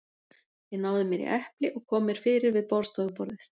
Ég náði mér í epli og kom mér fyrir við borðstofuborðið.